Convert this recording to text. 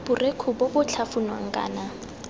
borekhu bo bo tlhafunwang kana